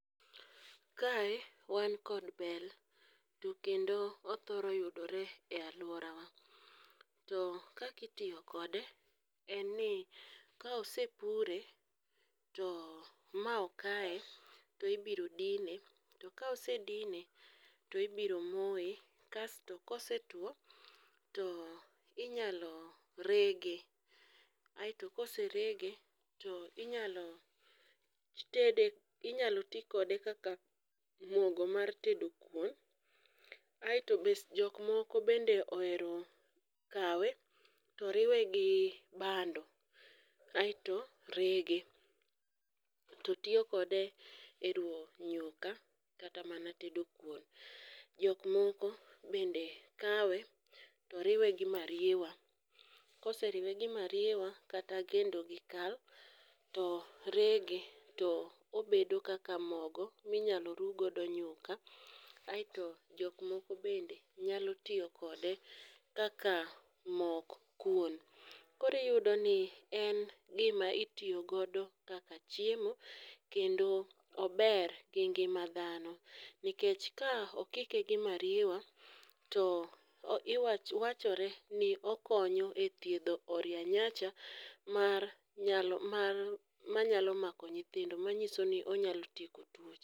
Kae wan kod bel, to kendo othoro yudore e aluorawa. To kaka tiyo kode, en ni ka osepure to ma okaye to ibiro dine to kaose dine to ibiro moye kasto kosetuo to inyalo rege aeto ka oserege to inyalo tede inyalo ti kode kaka mogo mar tedo kuon kaeto be jok moko bende ohero kawe to riwe gi bando aeto rege to tiyo kode eruwo nyuka kata mana tedo kuon. Jok moko bende kawe to riwe gi mariewa kata kendo gi kal to rege to obedo kaka mogo minyalo ruw godo nyuka. Kato jok moko bende nyalo tiyo kode kaka mok kuon. Koro iyudo ni en gima itiyo godo kaka chiemo kendo ober gi ngima dhano nikech ka okike gi mariewa to iwacho wachore ni okonyo othiedho oria nyancha mar manyalo mako nyithindo manyiso ni onyalo tieko tuoche.